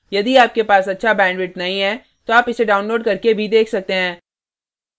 यदि आपके पास अच्छा bandwidth नहीं है तो आप इसे download करके देख सकते हैं